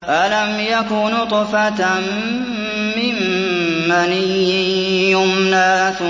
أَلَمْ يَكُ نُطْفَةً مِّن مَّنِيٍّ يُمْنَىٰ